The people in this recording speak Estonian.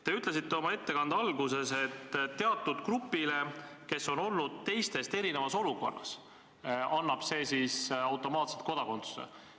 Te ütlesite oma ettekande alguses, et teatud grupile, kes on olnud teistest erinevas olukorras, annaks see seadus automaatselt kodakondsuse.